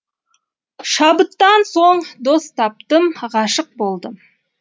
шабыттан соң дос таптым ғашық болдым